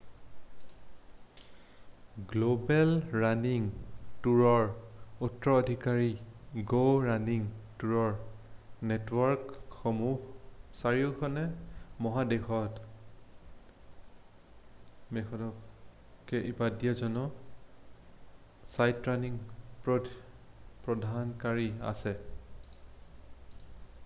global running টুৰৰ উত্তৰাধিকাৰী go running টুৰৰ নেটৱৰ্কসমূহৰ চাৰিখন মহাদেশত কেইবাড'জন চাইটৰাণিং প্ৰদানকাৰী আছে